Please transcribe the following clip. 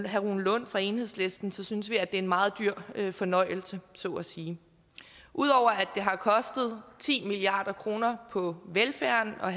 herre rune lund fra enhedslisten synes vi er en meget dyr fornøjelse så at sige ud over at det har kostet ti milliard kroner på velfærden at